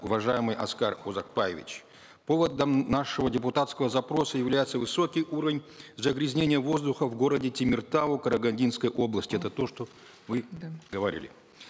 уважаемый аскар узакбаевич поводом нашего депутатского запроса является высокий уровень загрязнения воздуха в городе темиртау карагандинской области это то что вы да говорили